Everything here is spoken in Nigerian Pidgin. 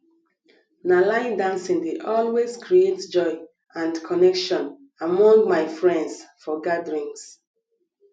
na line dancing dey always create joy and connection among my friends for gatherings